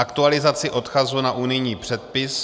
aktualizaci odkazu na unijní předpis;